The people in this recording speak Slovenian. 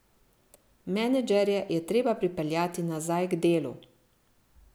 Menedžerje je treba pripeljati nazaj k delu!